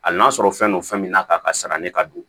Hali n'a sɔrɔ fɛn don fɛn min n'a ka sara ni ka don